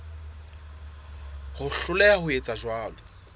ho hloleha ho etsa jwalo